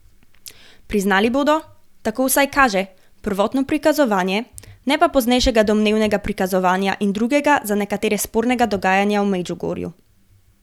Priznali bodo, tako vsaj kaže, prvotno prikazovanje, ne pa poznejšega domnevnega prikazovanja in drugega za nekatere spornega dogajanja v Medžugorju.